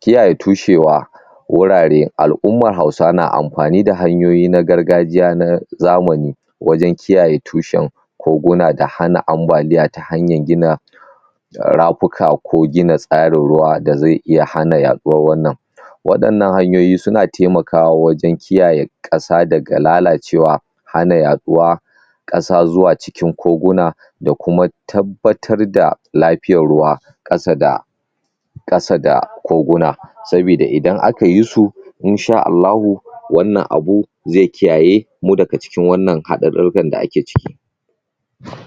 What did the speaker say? kiyaye tushewa wurare al'umman Hausawa na amfani da hanyoyi na gargajiya na zamani wajan kiyaye tushen koguna da hana ambaliya ta hanyar gina da rafuka ko gina tsarin ruwa da ze iya hana yaɗuwar wannan wadannan hanyoyi suna taimakawa wajan kiyaye ƙasa daga lalacewa hana yaɗuwa ƙasa cikin koguna da kuma tabbatar da lafiyar ruwa ƙasa da ƙasa da koguna sabida idan akayi su insha'Allahu wannan abu ze kiyayemu daga cikin wannan hada karfen da ake ciki.